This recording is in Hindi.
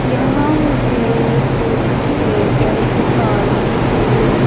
यहां मुझे कुछ टेबल दिखाई दे--